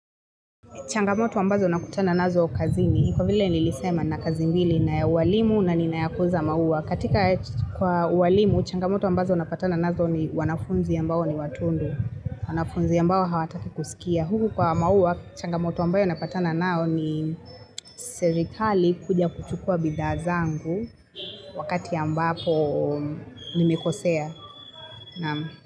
Changamoto ambazo nakutana nazo kazi ni kwa vile nilisema na kazi mbili na uwalimu na ninayakuuza maua. Katika kwa uwalimu, changamoto ambazo napatana nazo ni wanafunzi ambao ni watundu. Wanafunzi ambao hawataki kusikia. Huku kwa maua, changamoto ambayo napatana nao ni serikali kuja kuchukua bidhaazangu wakati ambapo nimekosea.